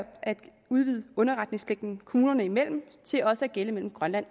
udvide underretningspligten kommunerne imellem til også at gælde mellem grønland